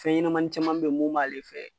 Fɛnɲɛnamanin caman bɛ yen mun b'ale fɛ.